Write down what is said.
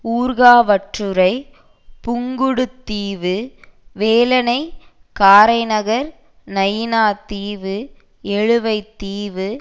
Urkavalthurai Pungudutivu Velanai Karainagar Nainativu Eluvaitivu